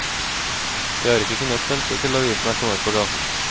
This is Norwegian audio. De har ikke kunnet vente til avisen er kommet på gaten.